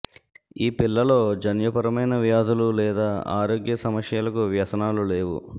ఈ పిల్లలో జన్యుపరమైన వ్యాధులు లేదా ఆరోగ్య సమస్యలకు వ్యసనాలు లేవు